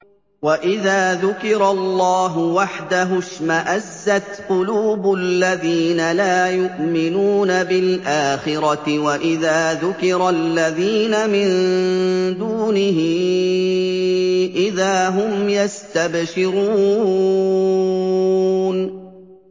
وَإِذَا ذُكِرَ اللَّهُ وَحْدَهُ اشْمَأَزَّتْ قُلُوبُ الَّذِينَ لَا يُؤْمِنُونَ بِالْآخِرَةِ ۖ وَإِذَا ذُكِرَ الَّذِينَ مِن دُونِهِ إِذَا هُمْ يَسْتَبْشِرُونَ